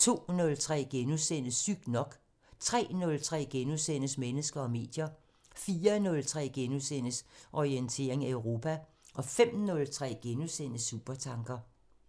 02:03: Sygt nok * 03:03: Mennesker og medier * 04:03: Orientering Europa * 05:03: Supertanker *